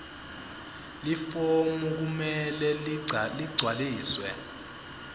lifomu kumele ligcwaliswe